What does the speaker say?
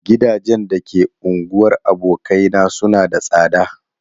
Gidajen da ke unguwar abokaina suna da tsada.